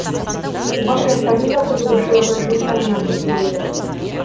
оған жастардың да қызығушылығы жыл сайын артып келеді